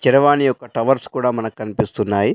చరవాణి యొక్క టవర్స్ కూడా మనకు కన్పిస్తున్నాయి.